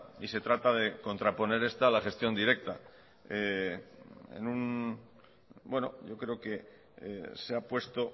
y se trata de contraponer esta a la gestión directa bueno yo creo que se ha puesto